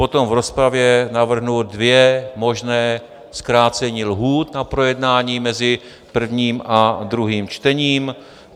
Potom v rozpravě navrhnu dvě možná zkrácení lhůt na projednání mezi prvním a druhým čtením.